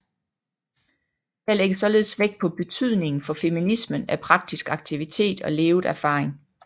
Her lægges således vægt på betydningen for feminismen af praktisk aktivitet og levet erfaring